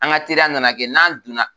An ka teriya nana kɛ n'an donna